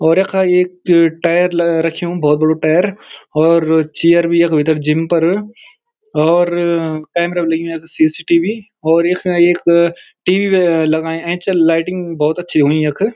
और यखा एक ए-टायर रख्युं भोत बड़ु टायर और चेयर भी यख भीतर जिम पर और कैमरा भी लग्युं यख सी.सी.टी.वी और यखा एक टी.वी ही लगायुं ऐंच लाइटिंग भोत अच्छी होणी यख।